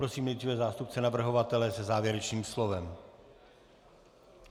Prosím nejdříve zástupce navrhovatele se závěrečným slovem.